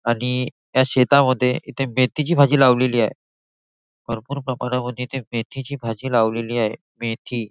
आणि या शेता मध्ये इथे मेथीची भाजी लावलेली आहे भरपूर प्रेमाना मध्ये येथे मेथी ची भाजी लावलेली आहे मेथी --